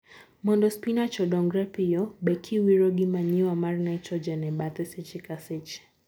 Mondo spinach odongre piyo, be kiwiro gi manure mar nitrogen e bathe seche ka seche.